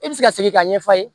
E bɛ se ka segin k'a ɲɛfɔ a ye